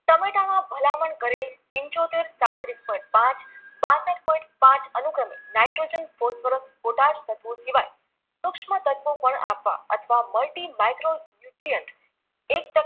ભલામણ કરેલ પિંચોતેર સાડત્રીસ point પાંચ બાસઠ point પાંચ અનુક્રમે નાઈટ્રોજન ફોસ્ફરસ પોટાશ તત્વો સિવાય સૂક્ષ્મ તત્વો પણ આપવા અથવા multi micron fluent એક ટન